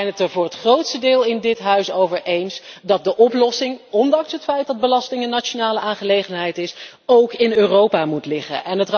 Maar we zijn het er voor het grootste deel in dit Parlement over eens dat de oplossing, ondanks het feit dat belasting een nationale aangelegenheid is, ook in Europa moet liggen.